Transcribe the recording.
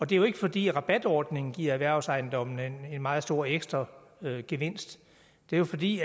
det jo ikke fordi rabatordningen giver erhvervsejendomme en meget stor ekstra gevinst det er jo fordi